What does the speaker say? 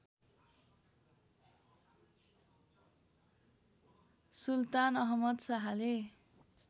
सुल्तान अहमद शाहले